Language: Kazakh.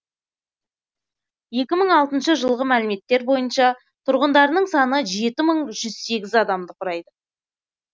екі мың алтыншы жылғы мәліметтер бойынша тұрғындарының саны жеті мың бір жүз сегіз адамды құрайды